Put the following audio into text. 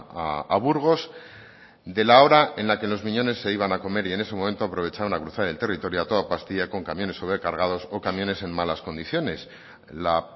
a burgos de la hora en la que los miñones se iban a comer y en ese momento aprovechaban a cruzar el territorio a toda pastilla con camiones sobrecargados o camiones en malas condiciones la